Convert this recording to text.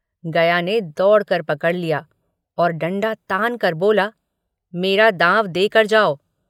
गया ने दौड़कर पकड़ लिया और डंडा तानकर बोला मेरा दाँव देकर जाओ।